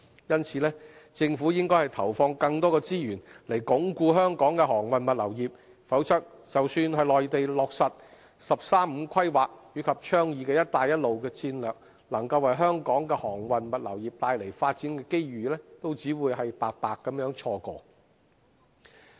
因此，政府應投放更多資源以鞏固香港的航運物流業，否則，即使內地落實的"十三五"規劃及倡議的"一帶一路"戰略能夠為香港的航運物流業帶來發展機遇，我們亦只會白白錯過。